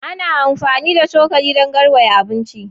Ana amfani da cokali dun garwaya abinci